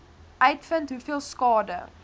uitvind hoeveel skade